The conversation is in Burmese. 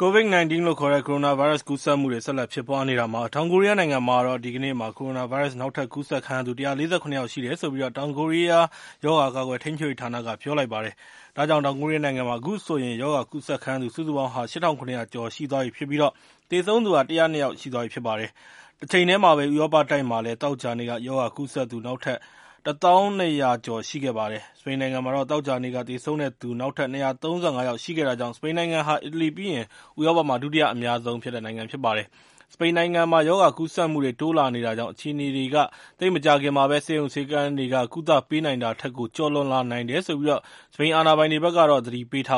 COVID-19 လို့ခေါ်တဲ့ ကိုရိုနာဗိုင်းရပ်စ် ကူးစက်မှုတွေ ဆက်လက်ဖြစ်ပွားနေတာမှာ တောင်ကိုရီးယားနိုင်ငံမှာတော့ ဒီကနေ့မှာ ကိုရိုနာဗိုင်းရပ်စ် နောက်ထပ်ကူးစက်ခံရသူ ၁၄၇ ယောက်ရှိတယ်လို့ တောင်ကိုရီးယားနိုင်ငံရဲ့ ရောဂါကာကွယ် ထိန်းချုပ်ရေးဌာနက ပြောလိုက်ပါတယ်။ ဒါကြောင့် တောင်ကိုရီးယားနိုင်ငံမှာ အခုဆိုရင်တော့ ရောဂါကူးစက်ခံရသူ စုစုပေါင်းဟာ ၈၇၀၀ ကျော်သွားပြီဖြစ်ပြီး သေဆုံးသူ ၁၀၂ ယောက်ရှိသွားပြီ ဖြစ်ပါတယ်။ တချိန်တည်းမှာပဲ ဥရောပတိုက်မှာလည်း သောကြာနေ့က ရောဂါကူးစက်သူ နောက်ထပ် ၁၀၂၀၀ ကျော် ရှိခဲ့ပါတယ်။ စပိန်နိုင်ငံမှာတော့ သောကြာနေ့က သေဆုံးတဲ့သူ နောက်ထပ် ၂၃၅ ယောက် ရှိခဲ့တာကြောင့် စပိန်နိုင်ငံဟာ အီတလီပြီးရင် ဥရောပမှာ ဒုတိယအများဆုံး ဖြစ်တဲ့နိုင်ငံ ဖြစ်ပါတယ်။ စပိန်နိုင်ငံမှာ ရောဂါကူးစက်မှုတွေ တိုးလာနေတာကြောင့် အခြေအနေတွေက သိပ်မကြာခင်မှာ ဆေးရုံဆေးခန်းတွေက ကုသပေးနိုင်တာထက်ကို ကျော်လွန်လာနိုင်တယ်လို့ စပိန်အာဏာပိုင်တွေက ပြောလိုက်